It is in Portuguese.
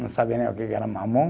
Não sabia nem o que que era mamão.